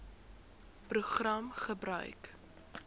program gebruik